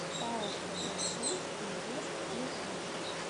пао кб центр инвест ближайший